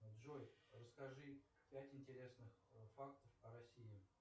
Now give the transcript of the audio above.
джой расскажи пять интересных фактов о россии